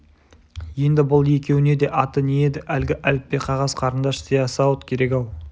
енді бұл екеуіне де аты не еді әлгі әліппе қағаз қарындаш сиясауыт керек-ау